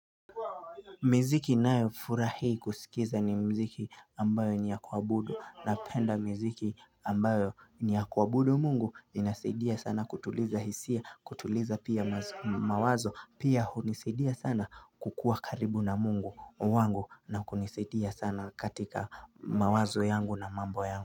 Miziki nayo furahi kusikiza ni mziki ambayo niyakuabudu na penda miziki ambayo niyakuabudu Mungu inasaidia sana kutuliza hisia kutuliza pia mawazo pia hunisaidia sana kukuwa karibu na Mungu wangu na kunisaidia sana katika mawazo yangu na mambo yangu.